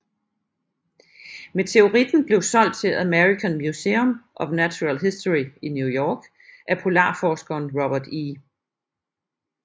Meteoritten blev solgt til American Museum of Natural History i New York af polarforskeren Robert E